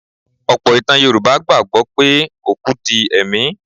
Ọ̀pọ̀ ìtàn Yorùbá gbà gbọ́ pé òkú di ẹ̀mí.